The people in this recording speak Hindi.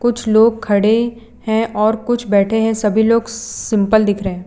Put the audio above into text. कुछ लोग खड़े हैं और कुछ बैठे हैं सभी लोग सिंपल दिख रहे--